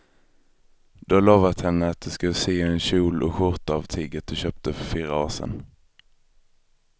Du har lovat henne att du ska sy en kjol och skjorta av tyget du köpte för fyra år sedan.